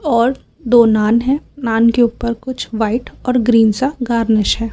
और दो नान है नान के ऊपर कुछ व्हाइट और ग्रीन सा गार्निश है।